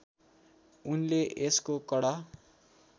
उनले यसको कडा